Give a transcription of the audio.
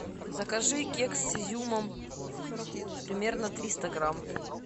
закажи кекс с изюмом примерно триста грамм